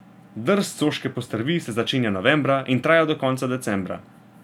Drst soške postrvi se začenja novembra in traja do konca decembra.